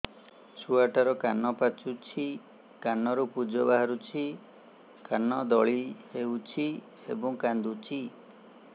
ଛୁଆ ଟା ର କାନ ପାଚୁଛି କାନରୁ ପୂଜ ବାହାରୁଛି କାନ ଦଳି ହେଉଛି ଏବଂ କାନ୍ଦୁଚି